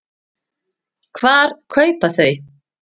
Hvar kaupa þau?